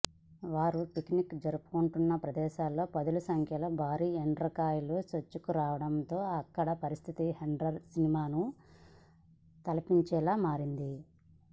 వారు పిక్నిక్ జరుపుకుంటున్న ప్రదేశంలోకి పదుల సంఖ్యలో భారీ ఎండ్రకాయలు చొచ్చుకురావటంతో అక్కడి పరిస్థితి హర్రర్ సినిమాను తలపించేలా మారింది